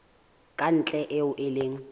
ka ntle eo e leng